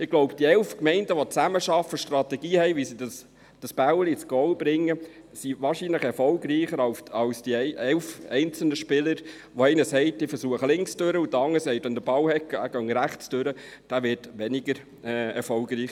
Ich glaube, die elf Gemeinden, die zusammenarbeiten und eine Strategie haben, wie sie den Ball ins Goal bringen, sind wahrscheinlich erfolgreicher als die elf einzelnen Spieler, die weniger erfolgreich sein werden, wenn von denen einer sagt, ich versuche es links durch, und der andere sagt, wenn er den Ball habe, gehe er rechts durch.